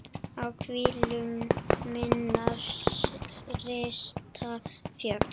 á hvílu minnar rista fjöl